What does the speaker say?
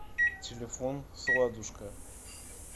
телефон сладушка